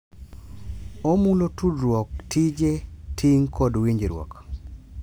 Omulo tudruok, tije, ting' kod winjruok.